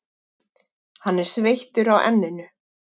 Hann er sveittur á enninu.